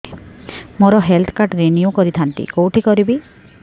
ମୋର health card renew କରିଥାନ୍ତି କୋଉଠି କରିବି